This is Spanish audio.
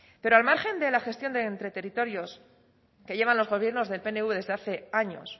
pero al margen de la gestión entre territorios que llevan los gobiernos del pnv desde hace años